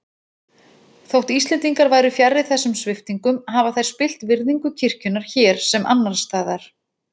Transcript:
Þótt Íslendingar væru fjarri þessum sviptingum hafa þær spillt virðingu kirkjunnar hér sem annars staðar.